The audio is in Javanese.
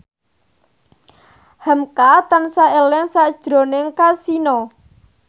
hamka tansah eling sakjroning Kasino